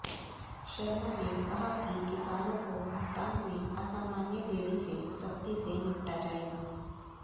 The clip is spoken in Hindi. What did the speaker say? शर्मा ने कहा कि किसानों को भुगतान में असामान्य देरी से सख्ती से निपटा जाएगा